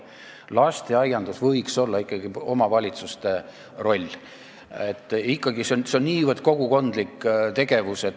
Lasteaiandus võiks olla ikkagi omavalitsuste roll, see on niivõrd kogukondlik tegevus.